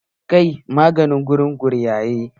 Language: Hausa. Kai magani wurin gurgayen!